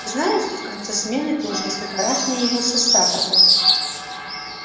ты знаешь что в конце смены ты уже несколько раз не явился с рапортом